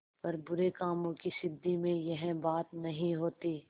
पर बुरे कामों की सिद्धि में यह बात नहीं होती